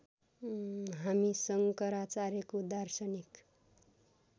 हामी शङ्कराचार्यको दार्शनिक